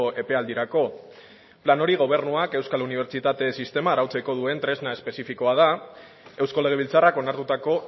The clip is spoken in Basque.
epealdirako plan hori gobernuak euskal unibertsitate sistema arautzeko duen tresna espezifikoa da eusko legebiltzarrak onartutako